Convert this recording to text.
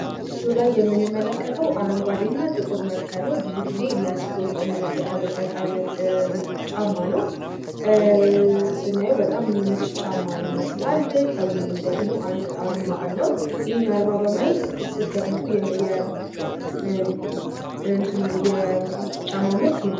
በምስሉ ላይ የምንመለከተው አረንጓዴ እና ጥቁር መልክ ያለው ብዙ ግዜ ለስፖርት የምንጠቀምበት አይነት ጫማ ነው። ስናየው በጣም የሚመች ጫማ ይመስላል ከጎኑ ደግሞ አንድ አርማ አለው። ይኽን አርማ በማየት ስትገምቱ የጫማው ምርት ምንድን ነው?